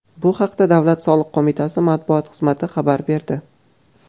Bu haqda Davlat soliq qo‘mitasi matbuot xizmati xabar berdi .